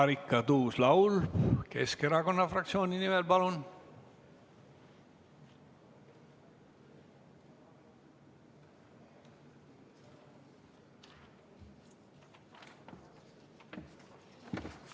Marika Tuus-Laul Keskerakonna fraktsiooni nimel, palun!